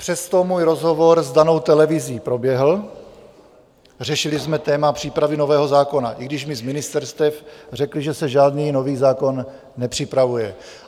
Přesto můj rozhovor s danou televizí proběhl, řešili jsme téma přípravy nového zákona, i když mi z ministerstev řekli, že se žádný nový zákon nepřipravuje.